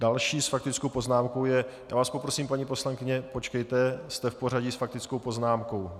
Další s faktickou poznámkou je - já vás poprosím, paní poslankyně , počkejte, jste v pořadí s faktickou poznámkou.